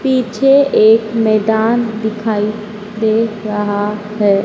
पीछे एक मैदान दिखाई दे रहा है।